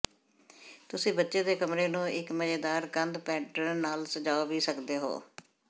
ਤੁਸੀਂ ਬੱਚੇ ਦੇ ਕਮਰੇ ਨੂੰ ਇੱਕ ਮਜ਼ੇਦਾਰ ਕੰਧ ਪੈਟਰਨ ਨਾਲ ਸਜਾਉਂ ਵੀ ਸਕਦੇ ਹੋ